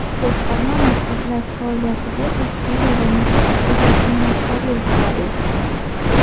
Boshqarma markazlar faoliyatiga tashkiliy va metodik jihatdan rahbarlik qiladi.